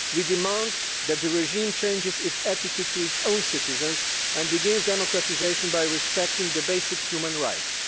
We demand that the regime change its attitudes to its own citizens and begins democratisation by respecting basic human rights.